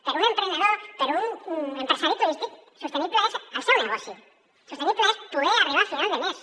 per a un emprenedor per a un empresari turístic sostenible és el seu negoci sostenible és poder arribar a final de mes